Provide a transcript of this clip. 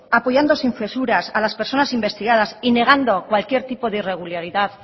apoyando sin censuras a las personas investigadas y negando cualquier tipo de irregularidad